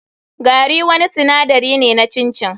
Gari wani sinadari ne na chin chin.